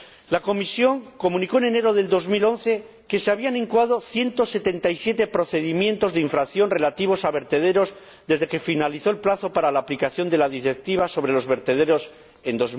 La Comisión comunicó en enero de 2011 que se habían incoado 177 procedimientos de infracción relativos a vertederos desde que finalizó el plazo para la aplicación de la Directiva sobre los vertederos en